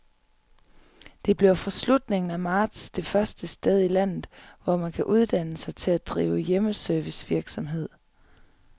Det bliver fra slutningen af marts det første sted i landet, hvor man kan uddanne sig til at drive hjemmeservicevirksomhed.